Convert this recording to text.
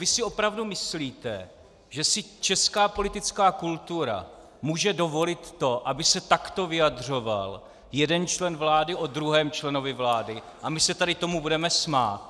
Vy si opravdu myslíte, že si česká politická kultura může dovolit to, aby se takto vyjadřoval jeden člen vlády o druhém členovi vlády, a my se tady tomu budeme smát?